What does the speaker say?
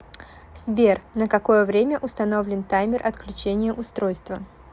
сбер на какое время установлен таймер отключения устройства